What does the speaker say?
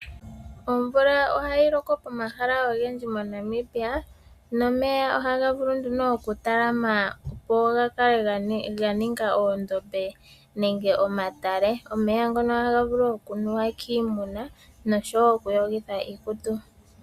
Omvula ohayi loko pomahala ogendji moNamibia nomeya ohaga vulu nduno okutalama opo gakale ganinga oondombe nenge omatale. Omeya ngono ohaga vulu okunuwa kiimuna noshowo okuyogitha iikutu.